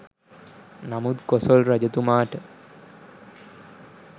නමුත් කොසොල් රජතුමාට